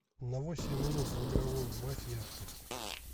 на восемь минут в игровой убавь яркость